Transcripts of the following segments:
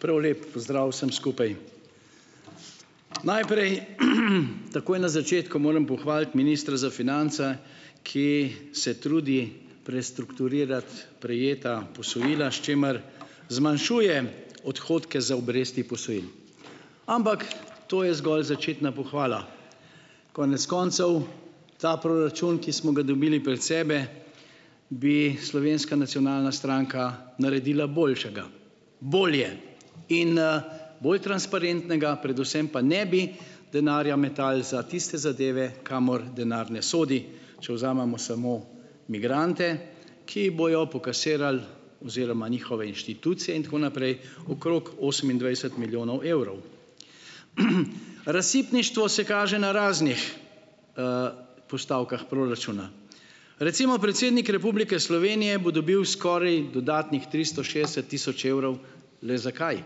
prav lep pozdrav vsem skupaj. Najprej takoj na začetku moram pohvaliti ministra za finance, ki se trudi prestrukturirati prejeta posojila, s čimer zmanjšuje odhodke za obresti posojil, ampak to je zgolj začetna pohvala, konec koncev ta proračun, ki smo ga dobili pred sebe, bi Slovenska nacionalna stranka naredila boljšega, bolje in bolj transparentnega, predvsem pa ne bi denarja metali za tiste zadeve, kamor denar ne sodi, če vzamemo samo migrante, ki bojo pokasirali oziroma njihove inštitucije in tako naprej okrog osemindvajset milijonov evrov. Razsipništvo se kaže na raznih postavkah proračuna recimo predsednik Republike Slovenije bo dobil skoraj dodatnih tristo šestdeset tisoč evrov, le zakaj?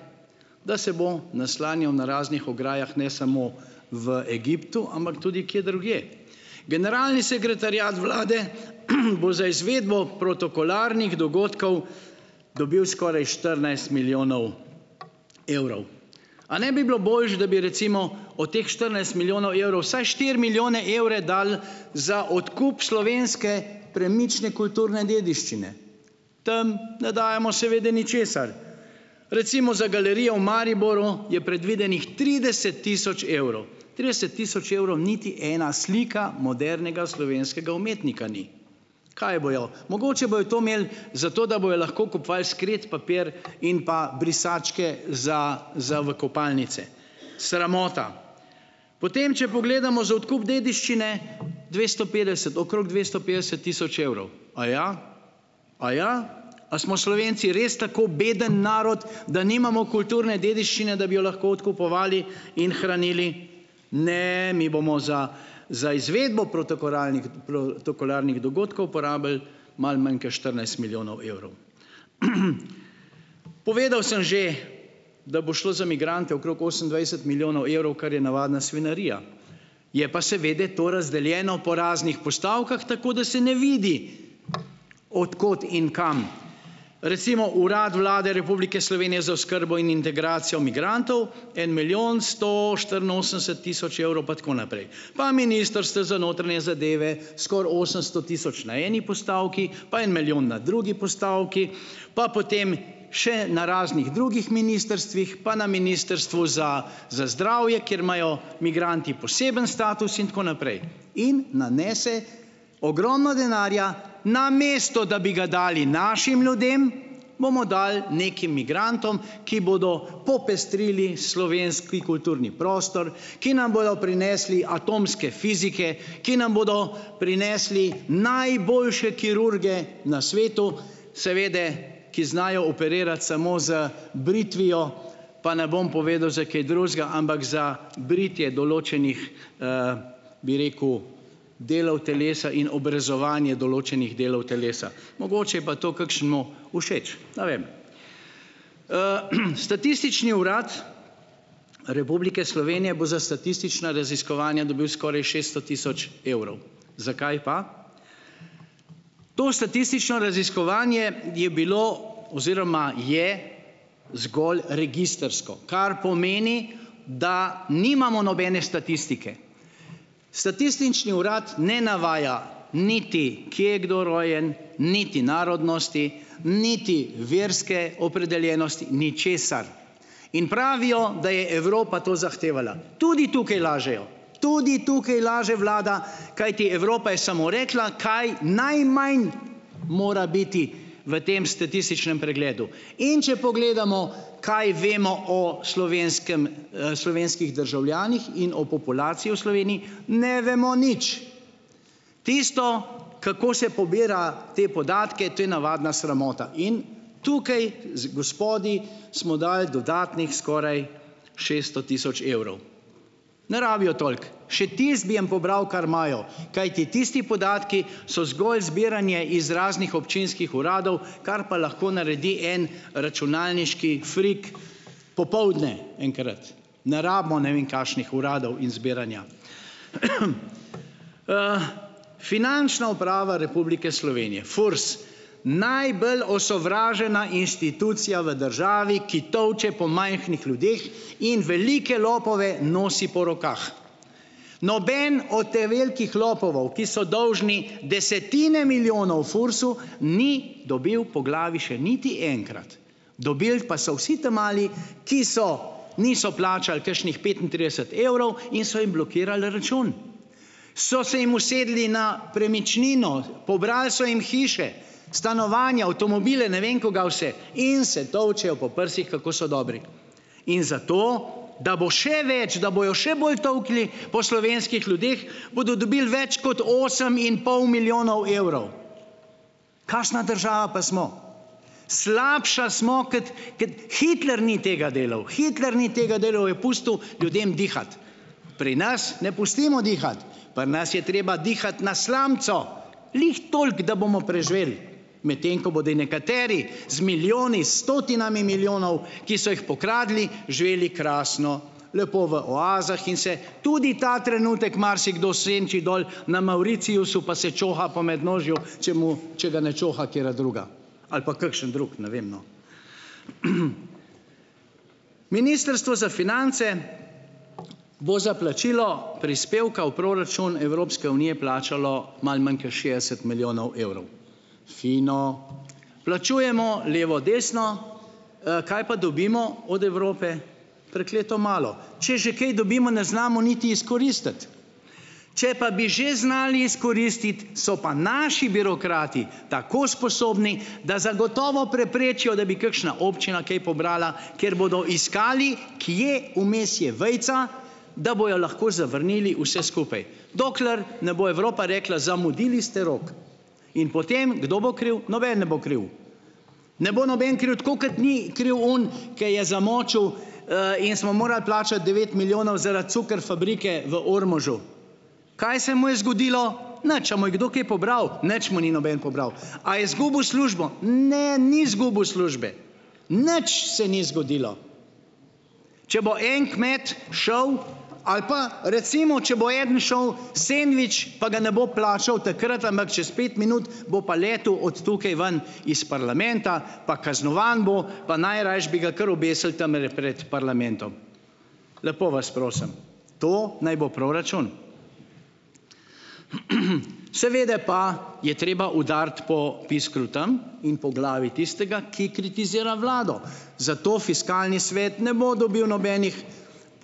Da se bo naslanjal na raznih ograjah ne samo v Egiptu, ampak tudi kje drugje, generalni sekretariat vlade bo za izvedbo protokolarnih dogodkov dobil skoraj štirinajst milijonov evrov. A ne bi bilo boljše, da bi recimo od teh štirinajst milijonov evrov vsaj štiri milijone evre dali za odkup slovenske premične kulturne dediščine, tam ne dajemo seveda ničesar, recimo za galerijo v Mariboru je predvidenih trideset tisoč evrov, trideset tisoč evrov niti ena slika modernega slovenskega umetnika ni, kaj bojo, mogoče bojo to imeli zato, da bojo lahko kupovali sekret papir in pa brisačke za za v kopalnice, sramota, potem če pogledamo za odkup dediščine dvesto petdeset okrog dvesto petdeset tisoč evrov, aja, aja, a smo Slovenci res tako beden narod da nimamo kulturne dediščine, da bi jo lahko odkupovali in hranili, ne, mi bomo za za izvedbo protokolarnih protokolarnih dogodkov porabili malo manj kot štirinajst milijonov evrov. Povedal sem že, da bo šlo za migrante okrog osemindvajset milijonov evrov, kar je navadna svinjarija, je pa seveda to razdeljeno po raznih postavkah tako, da se ne vidi, od kod in kam, recimo Urad Vlade Republike Slovenije za oskrbo in integracijo migrantov en milijon sto štiriinosemdeset tisoč evrov pa tako naprej, pa ministrstvo za notranje zadeve, skoraj osemsto tisoč na eni postavki, pa en milijon na drugi postavki, pa potem še na raznih drugih ministrstvih, pa na ministrstvu za za zdravje, kjer imajo migranti poseben status in tako naprej, in nanese ogromno denarja, namesto da bi ga dali našim ljudem, bomo dali nekim migrantom, ki bodo popestrili slovenski kulturni prostor, ki nam bojo prinesli atomske fizike, ki nam bodo prinesli najboljše kirurge na svetu, seveda, ki znajo operirati samo z britvijo, pa ne bom povedal, za kaj drugega, ampak za britje določenih bi rekel, delov telesa in obrezovanje določenih delov telesa, mogoče je pa to kakšnemu všeč, ne vem. Statistični urad Republike Slovenije bo za statistično raziskovanje dobil skoraj šeststo tisoč evrov. Zakaj pa? To statistično raziskovanje je bilo oziroma je zgolj registrsko, kar pomeni, da nimamo nobene statistike, Statistični urad ne navaja niti, kje je kdo rojen niti narodnosti niti verske opredeljenosti, ničesar, in pravijo da je Evropa to zahtevala, tudi tukaj lažejo, tudi tukaj laže vlada, kajti Evropa je samo rekla, kaj najmanj mora biti v tem statističnem pregledu, in če pogledamo, kaj vemo o slovenskem slovenskih državljanih in o populaciji v Sloveniji, ne vemo nič. Tisto, kako se pobira te podatke, to je navadna sramota, in tukaj z gospodi smo dajali dodatnih skoraj šeststo tisoč evrov, ne rabijo toliko, še tisto bi jim pobral, kar imajo, kajti tisti podatki so zgolj zbiranje iz raznih občinskih uradov, kar pa lahko naredi en računalniški frik popoldne enkrat, ne rabimo ne vem kakšnih uradov in zbiranja, Finančna uprava Republike Slovenije, FURS, najbolj osovražena institucija v državi, ki tolče po majhnih ljudeh in velike lopove nosi po rokah, noben od ta velikih lopovov, ki so dolžni desetine milijonov FURS-u, ni dobil po glavi še niti enkrat, dobil pa so vsi ta mali, ki so, niso plačali kakšnih petintrideset evrov in so jim blokirali račun, so se jim usedli na premičnino, pobrali so jim hiše stanovanja, avtomobile, ne vem kaj vse, in se tolčejo po prsih, kako so dobri, in zato, da bo še več, da bojo še bolj tolkli po slovenskih ljudeh, bodo dobili več kot osem in pol milijonov evrov. Kakšna država pa smo, slabša smo kot, kot, Hitler ni tega delal, Hitler ni tega delal, je pustil ljudem dihati, pri nas ne pustimo dihati, pri nas je treba dihati na slamico, glih toliko, da bomo preživeli, medtem ko bodo nekateri z milijoni, stotinami milijonov, ki so jih pokradli, živeli krasno, lepo v oazah in se tudi ta trenutek marsikdo senči dol na Mauritiusu pa se čoha po mednožju, če mu, če ga ne čoha katera druga ali pa kakšen drug, ne vem, no. Ministrstvo za finance bo za plačilo prispevka v proračun Evropske unije plačalo malo manj kot šestdeset milijonov evrov, fino, plačujemo levo desno, kaj pa dobimo od Evrope? Prekleto malo. Če že kaj dobimo, ne znamo niti izkoristiti, če pa bi že znali izkoristiti, so pa naši birokrati tako sposobni, da zagotovo preprečijo, da bi kakšna občina kaj pobrala, ker bodo iskali, kje vmes je vejica, da bojo lahko zavrnili vse skupaj, dokler ne bo Evropa rekla, zamudili ste rok, in potem kdo bo kriv? Noben ne bo kriv, ne bo noben kriv, tako kot ni kriv oni, kaj je zamočil, in smo morali plačati devet milijonov zaradi cuker fabrike v Ormožu, kaj se mu je zgodilo? Nič, a mu je kdo kaj pobral? Nič mu ni noben pobral. A je zgubil službo? Ne, ni zgubil službe, nič se ni zgodilo. Če bo en kmet šel ali pa recimo če bo eden šel sendvič pa ga ne bo plačal takrat, ampak čez pet minut bo pa letu od tukaj ven iz parlamenta pa kaznovan bo pa najrajši bi ga kar obesili tamle pred parlamentom, lepo vas prosim. To naj bo proračun. Seveda pa je treba udariti po piskru tam in po glavi tistega, ki kritizira vlado, zato fiskalni svet ne bo dobil nobenih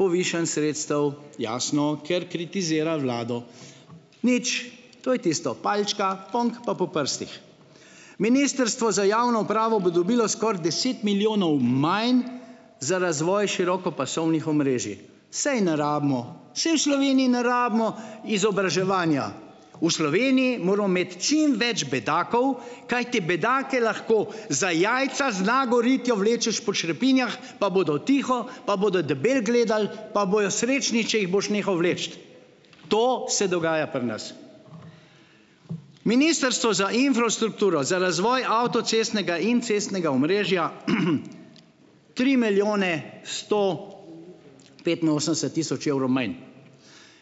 povišanj sredstev, jasno, ker kritizira vlado, nič, to je tisto, palčka, ponk, pa po prstih. Ministrstvo za javno upravo bo dobilo skoraj deset milijonov manj za razvoj širokopasovnih omrežij, saj ne rabimo, saj v Sloveniji ne rabimo izobraževanja, v Sloveniji moramo imeti čim več bedakov, kajti bedake lahko za jajca z nago ritjo vlečeš po črepinjah, pa bodo tiho, pa bodo debel gledal, pa bojo srečni, če jih boš nehal vleči, to se dogaja pri nas. Ministrstvo za infrastrukturo za razvoj avtocestnega in cestnega omrežja tri milijone sto petinosemdeset tisoč evrov manj,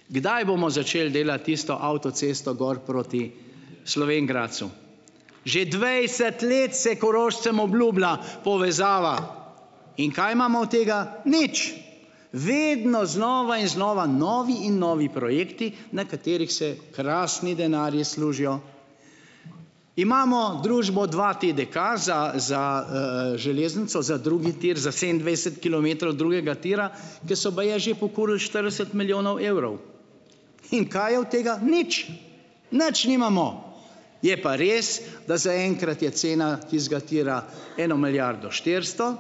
kdaj bomo začeli delati tisto avtocesto gor proti Slovenj Gradcu? Že dvajset let se Korošcem obljublja povezava in kaj imamo od tega? Nič, vedno znova in znova novi in novi projekti, na katerih se krasni denarji služijo. Imamo družbo dva TDK za za železnico, za drugi tir, za sedemindvajset kilometrov drugega tira, ker so baje že pokurili štirideset milijonov evrov, in kaj je od tega, nič, nič nimamo, je pa res, da zaenkrat je cena tistega tira eno milijardo štiristo,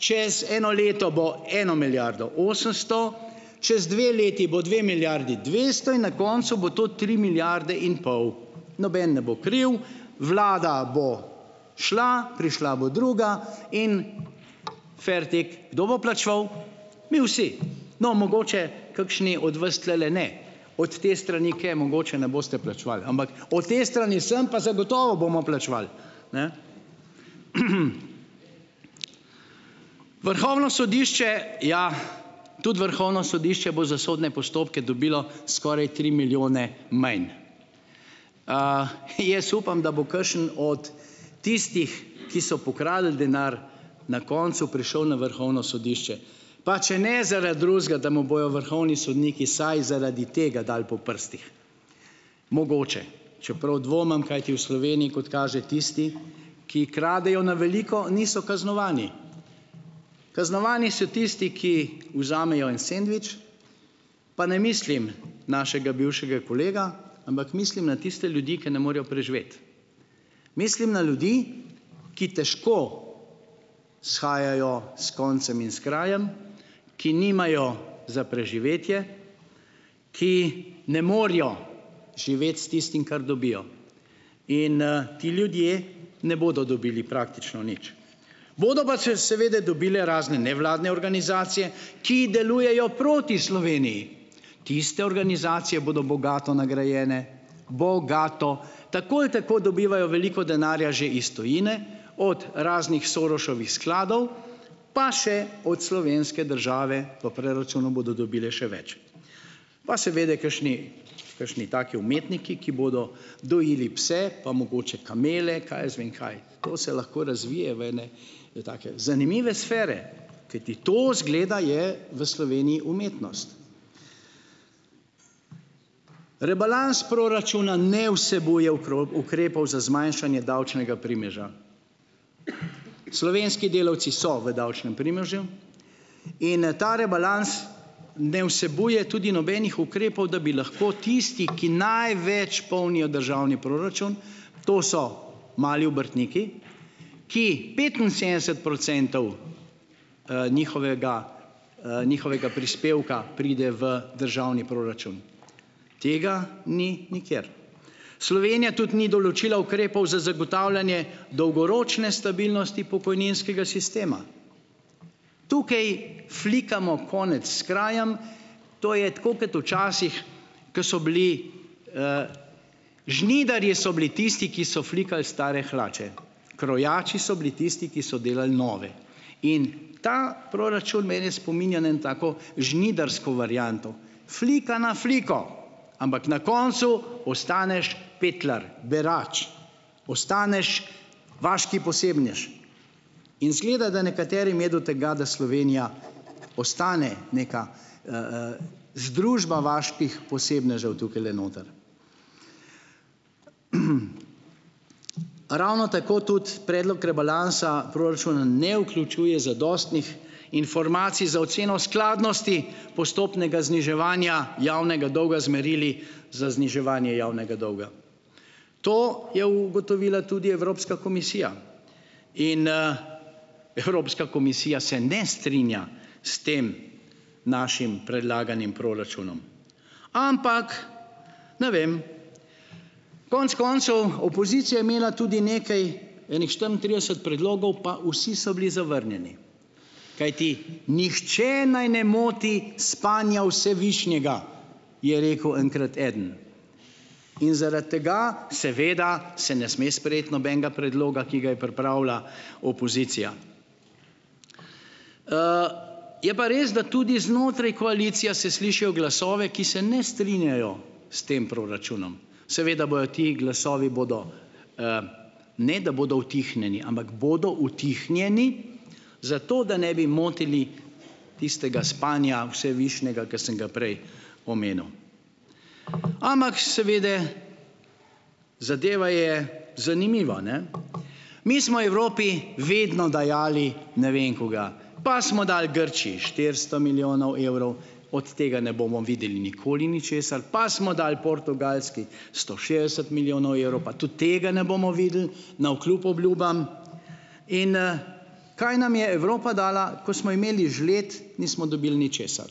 čez eno leto bo eno milijardo osemsto, čez dve leti bo dve milijardi dvesto in na koncu bo to tri milijarde in pol, noben ne bo kriv, vlada bo šla, prišla bo druga, in fertik. Kdo bo plačeval? Mi vsi. No, mogoče kakšni od vas tlele ne, od te strani, ker mogoče ne boste plačevali, ampak po tej strani vsem pa zagotovo bomo plačevali, ne. Vrhovno sodišče, ja, tudi Vrhovno sodišče bo za sodne postopke dobilo skoraj tri milijone manj. Jaz upam, da bo kakšen od tistih, ki so pokradli denar, na koncu prišel na Vrhovno sodišče pa če ne zaradi drugega, da mu bojo vrhovni sodniki vsaj zaradi tega dali po prstih. Mogoče, čeprav dvomim, kajti v Sloveniji, kot kaže, tisti, ki kradejo na veliko, niso kaznovani, kaznovani so tisti, ki vzamejo en sendvič, pa ne mislim našega bivšega kolega, ampak mislim na tiste ljudi, ki ne morejo preživeti, mislim na ljudi, ki težko shajajo s koncem in s krajem, ki nimajo za preživetje, ki ne morjo živeti s tistim, kar dobijo, in ti ljudje ne bodo dobili praktično nič, bodo pa seveda dobile razne nevladne organizacije, ki delujejo proti Sloveniji, tiste organizacije bodo bogato nagrajene, bogato, tako ali tako dobivajo veliko denarja že iz tujine od raznih Sorosevih skladov pa še od slovenske države, po preračunu bodo dobile še več, pa seveda kakšni, kakšni taki umetniki, ki bodo dojili pse pa mogoče kamele, kaj jaz vem kaj, to se lahko razvije v ene take zanimive sfere, kajti to izgleda je v Sloveniji umetnost. Rebalans proračuna ne vsebuje ukrepov za zmanjšanje davčnega primeža. Slovenski delavci so v davčnem primežu in ta rebalans ne vsebuje tudi nobenih ukrepov, da bi lahko tisti, ki največ polnijo državni proračun, to so mali obrtniki, ki petinsedemdeset procentov njihovega, njihovega prispevka pride v državni proračun, tega ni nikjer Slovenija tudi ni določila, ukrepov za zagotavljanje dolgoročne stabilnosti pokojninskega sistema, tukaj flikamo konec s krajem, to je tako kot včasih, ko so bili žnidarji, so bili tisti, ki so flikali stare hlače, krojači so bili tisti, ki so delali nove, in ta proračun mene spominja na eno tako žnidarsko varianto, flika na fliko, ampak na koncu ostaneš petlar, berač postaneš, vaški posebnež, in izgleda, da nekaterim je do tega, da Slovenija postane neka združba vaških posebnežev tukajle noter, ravno tako tudi predlog rebalansa proračuna ne vključuje zadostnih informacij za oceno skladnosti postopnega zniževanja javnega dolga z merili za zniževanje javnega dolga. To je ugotovila tudi Evropska komisija in Evropska komisija se ne strinja s tem našim predlaganim proračunom, ampak ne vem, konec koncev opozicija je imela tudi nekaj ene štiriintrideset predlogov, pa vsi so bili zavrnjeni, kajti nihče naj ne moti spanja vsevišnjega, je rekel enkrat eden in zaradi tega seveda se ne sme sprejeti nobenega predloga, ki ga je pripravila opozicija, je pa res, da tudi znotraj koalicija se slišijo glasove, ki se ne strinjajo s tem proračunom, seveda bojo ti glasovi bodo, ne da bodo utihnjeni, ampak bodo utihnjeni, zato da ne bi motili tistega spanja vsevišnjega, ki sem ga prej omenil, ampak seveda, zadeva je zanimiva, ne, mi smo Evropi vedno dajali ne vem kaj, pa smo dali Grčiji štiristo milijonov evrov, od tega ne bomo videli nikoli ničesar, pa smo dali Portugalski sto šestdeset milijonov evrov, pa tudi tega ne bomo videli navkljub obljubam, in kaj nam je Evropa dala, ko smo imeli žled, nismo dobili ničesar,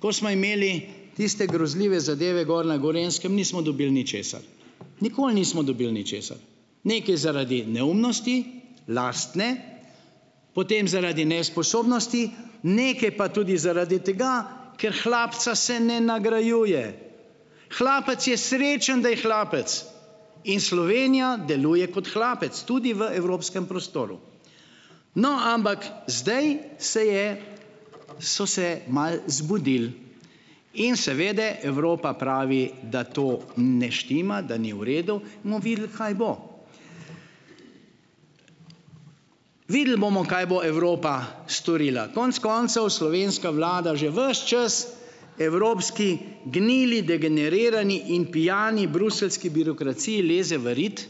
ko smo imeli tiste grozljive zadeve gor na Gorenjskem, nismo dobili ničesar, nikoli nismo dobili ničesar, nekaj zaradi neumnosti lastne, potem zaradi nesposobnosti, nekaj pa tudi zaradi tega, ker hlapca se ne nagrajuje, hlapec je srečen, da je hlapec, in Slovenija deluje kot hlapec tudi v evropskem prostoru, no, ampak zdaj se je, so se malo zbudili in seveda Evropa pravi, da to ne štima, da ni v redu, bomo videli, kaj bo, videli bomo, kaj bo Evropa storila, konec koncev slovenska vlada že ves čas evropski gnili degenerirani in pijani bruseljski birokraciji leze v rit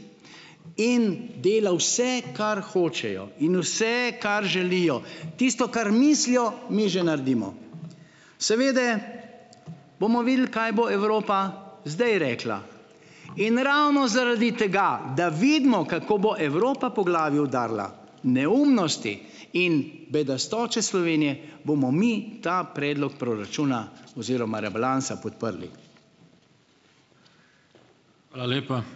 in dela vse, kar hočejo, in vse, kar želijo, tisto, kar mislijo, mi že naredimo, seveda bomo videli, kaj bo Evropa zdaj rekla, in ravno zaradi tega, da vidimo, kako bo Evropa po glavi udarila neumnosti in bedastoče Slovenije, bomo mi ta predlog proračuna rebalansa podprli. Hvala lepa.